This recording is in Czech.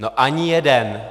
No ani jeden!